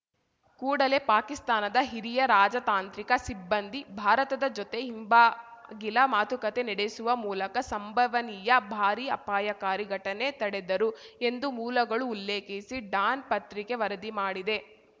ಕೂಡಲೇ ಪಾಕಿಸ್ತಾನದ ಹಿರಿಯ ರಾಜತಾಂತ್ರಿಕ ಸಿಬ್ಬಂದಿ ಭಾರತದ ಜೊತೆ ಹಿಂಬಾಗಿಲ ಮಾತುಕತೆ ನೆಡೆಸುವ ಮೂಲಕ ಸಂಭವನೀಯ ಭಾರೀ ಅಪಾಯಕಾರಿ ಘಟನೆ ತಡೆದರು ಎಂದು ಮೂಲಗಳು ಉಲ್ಲೇಖಿಸಿ ಡಾನ್‌ ಪತ್ರಿಕೆ ವರದಿ ಮಾಡಿದೆ